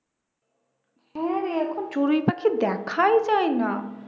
এখন চড়ুই পাখি দেখায় যায়না